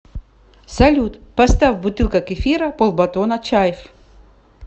салют поставь бутылка кефира полбатона чайф